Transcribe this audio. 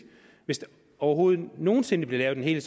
hvis der overhovedet nogen sinde bliver lavet en